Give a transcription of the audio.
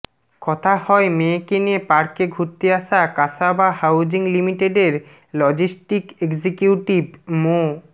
কথা হয় মেয়েকে নিয়ে পার্কে ঘুরতে আসা কাসাবা হাউজিং লিমিটেডের লজিস্টিক এক্সিকিউটিভ মো